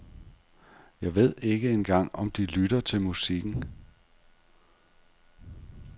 Jeg ved ikke engang om de lytter til musikken.